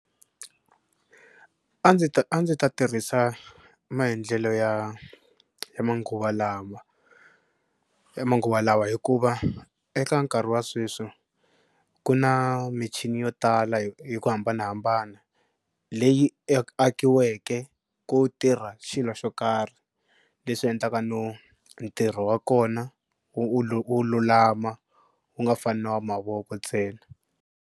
A ndzi ta a ndzi ta tirhisa maendlelo ya ya manguva lawa ya manguva lawa hikuva eka nkarhi wa sweswi ku na michini yo tala hi ku hambanahambana leyi akiweke ku tirha xilo xo karhi leswi endlaka no ntirho wa kona wu wu lulama wu nga fani na wa mavoko ntsena.